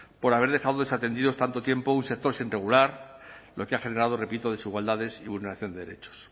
por haber dejado desatendidos tanto tiempo un sector sin regular lo que ha generado repito desigualdades y vulneración de derechos